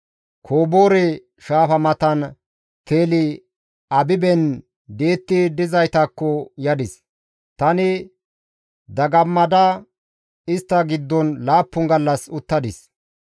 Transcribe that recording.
Koboore Shaafa matan Teli-Abiben di7etti dizaytakko yadis; tani dagammada istta giddon laappun gallas uttadis.